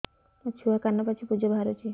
ମୋ ଛୁଆ କାନ ପାଚି ପୂଜ ବାହାରୁଚି